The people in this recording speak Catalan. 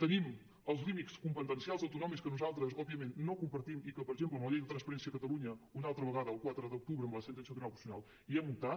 tenim els límits competencials autonòmics que nosaltres òbviament no compartim i que per exemple en la llei de transparència de catalunya una altra vegada el quatre d’octubre amb la sentència del tribunal constitucional hi hem optat